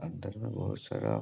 अंदर मे बहुत सारा --